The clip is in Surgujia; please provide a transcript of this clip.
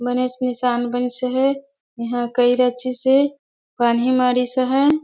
बनेच निशान बनिस अहे इहा कई रचिस हे पानही मारिस अहै।